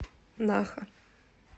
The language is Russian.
наха